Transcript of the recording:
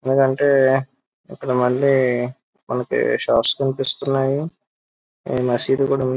ఏంటంటే ఇక్కడ మల్లి మనకి షాప్స్ కనిపిస్తున్నాయి మసీది కూడా ఉం --